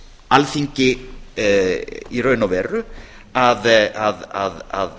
alþingi er í raun og veru að